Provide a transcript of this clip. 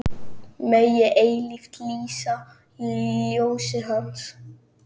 Megi eilíft lýsa ljósið Hans.